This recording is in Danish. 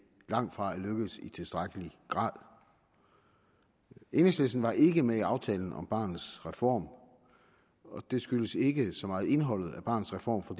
langtfra er lykkedes i tilstrækkelig grad enhedslisten var ikke med i aftalen om barnets reform og det skyldes ikke så meget indholdet af barnets reform for